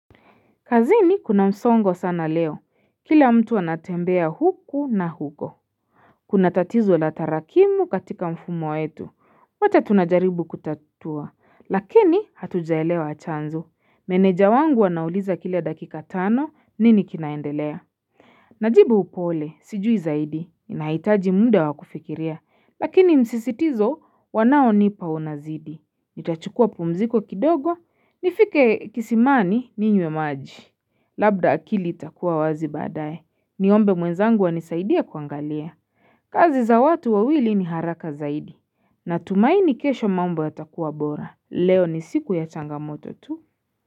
Kazini kuna msongo sana leo, kila mtu anatembea huku na huko. Kuna tatizo la tarakimu katika mfumo wetu. Wote tunajaribu kutatua, lakini hatujaelewa chanzo Meneja wangu anauliza kila dakika tano nini kinaendelea. Najibu upole, sijui zaidi, ninahitaji muda wa kufikiria, lakini msisitizo wanaonipa unazidi. Nitachukua pumziko kidogo, nifike kisimani ninywe maji. Labda akili itakuwa wazi badaye, niombe mwenzangu anisaidie kuangalia kazi za watu wawili ni haraka zaidi na tumaini kesho mambo yatakuwa bora, leo ni siku ya changamoto tu.